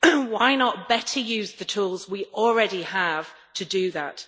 why not better use the tools we already have to do that?